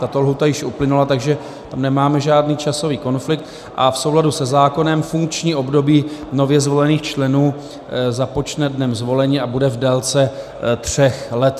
Tato lhůta již uplynula, takže tam nemáme žádný časový konflikt a v souladu se zákonem funkční období nově zvolených členů započne dnem zvolení a bude v délce tří let.